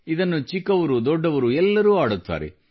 ಇದನ್ನು ದೊಡ್ಡವರು ಚಿಕ್ಕವರೆಲ್ಲರೂ ಆಡುತ್ತಾರೆ